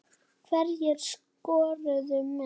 Hverjir skoruðu mest?